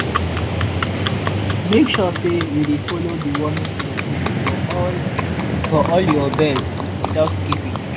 make sure say you dey follow deworming schedule for all for all your birds without skipping.